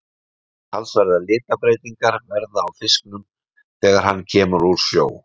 Talsverðar litabreytingar verða á fisknum þegar hann kemur úr sjó.